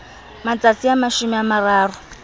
matsatsi a mashome a mararo